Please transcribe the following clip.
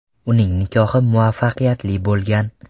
Uning nikohi muvaffaqiyatli bo‘lgan.